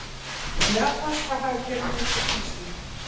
Japanska hagkerfið undir þrýstingi